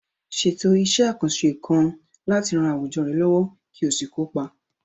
Ṣètò iṣẹ́ àkànṣe kan láti ran àwùjọ rẹ lọ́wọ́ kí o sì kópa.